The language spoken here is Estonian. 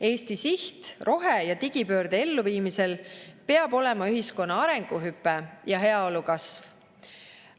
Eesti siht rohe‑ ja digipöörde elluviimisel peab olema ühiskonna arenguhüpe ja heaolu kasv.